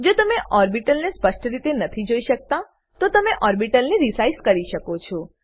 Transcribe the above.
જો તમે ઓર્બીટલ ને સ્પષ્ટ રીતે નથી જોઈ શકતાતો તમે ઓર્બીટલ ને રિસાઈઝ કરી શકો છો